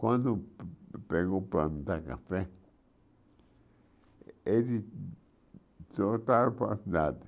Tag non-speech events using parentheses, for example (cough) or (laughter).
Quando pe pegou o (unintelligible) café, eles soltaram para a cidade.